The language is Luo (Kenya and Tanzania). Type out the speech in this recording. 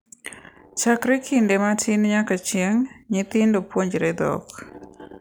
Chakre kinde matin nyaka chieng’, nyithindo puonjore dhok,